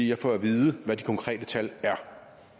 jeg får at vide hvad de konkrete tal er